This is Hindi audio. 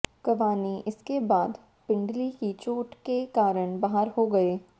कवानी इसके बाद पिंडली की चोट के कारण बाहर हो गए